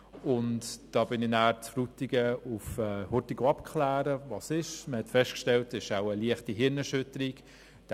Ich liess mich dann in Frutigen abklären, und man stellte fest, dass es wohl eine leichte Gehirnerschütterung sei.